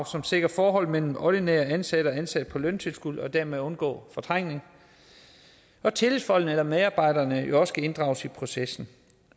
som sikrer forholdet mellem ordinært ansatte og ansatte på løntilskud og dermed undgå fortrængning tillidsfolkene eller medarbejderne skal jo også inddrages i processen